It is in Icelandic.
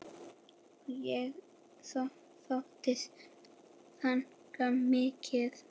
Og ég sótti þangað mikið.